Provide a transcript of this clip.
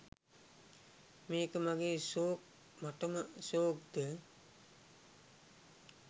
මේක මගේ ෂෝක් මටම ෂෝක්ද?